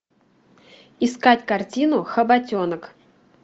искать картину хоботенок